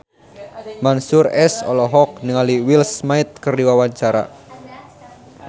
Mansyur S olohok ningali Will Smith keur diwawancara